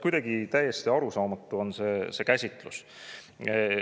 Kuidagi nagu täiesti arusaamatu on see käsitlus.